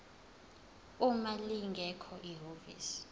uma lingekho ihhovisi